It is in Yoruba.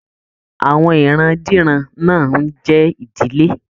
Àwọn ìran-diran náà n jẹ ìdílé.